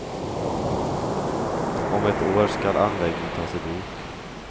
Om ett år skall anläggningen tas i bruk.